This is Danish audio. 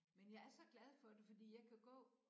Men jeg er så glad for det fordi jeg kan gå